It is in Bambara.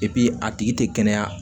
a tigi tɛ kɛnɛya